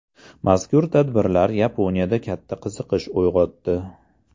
Mazkur tadbirlar Yaponiyada katta qiziqish uyg‘otdi.